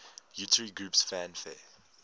utari groups fanfare